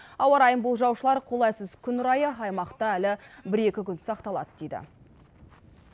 ауа райын болжаушылар қолайсыз күн райы аймақта әлі бір екі күн сақталады дейді